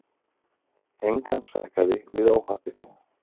Engan sakaði við óhappið.